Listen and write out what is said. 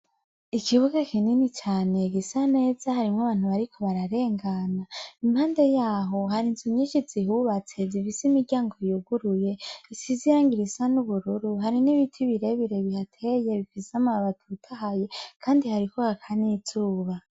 Ikibuga kinini cane gisa neza harimwo nabantu bariko bararengana impande yaho hariho inzu nyinshi zihubatse zifise imiryango yuguruye risize irangi risa nubururu hari nibiti birebire bihateye bifise amababi atotaye kandi hariko haka nizuba